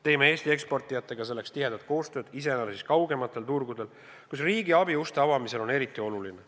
Teeme Eesti eksportijatega selleks tihedat koostööd, iseäranis kaugematel turgudel, kus riigi abi uste avamisel on eriti oluline.